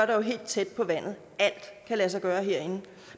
der helt tæt på vandet alt kan lade sig gøre herinde